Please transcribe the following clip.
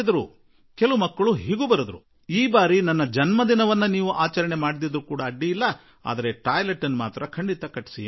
ಕೆಲವು ಬಾಲಕರಂತೂ ಈ ಸಲ ನನ್ನ ಹುಟ್ಟುಹಬ್ಬವನ್ನು ನೀವು ಆಚರಿಸದಿದ್ದರೂ ಪರವಾಗಿಲ್ಲ ನಡೆಯುತ್ತದೆ ಆದರೆ ಶೌಚಾಲಯ ಖಂಡಿತಾ ನಿರ್ಮಿಸಿ ಎಂದು ಪತ್ರ ಬರೆದರು